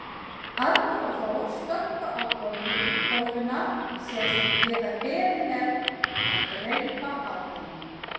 Arnar og Þór stökkva á bolluna, segjast ekki geta beðið með að dreypa á henni.